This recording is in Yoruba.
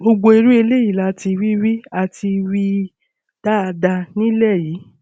gbogbo irú eléyìí la ti rí rí a ti rí i dáadáa nílẹ yìí